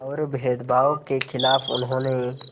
और भेदभाव के ख़िलाफ़ उन्होंने